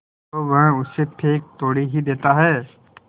तो वह उसे फेंक थोड़े ही देता है